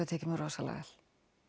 tekið mér rosalega vel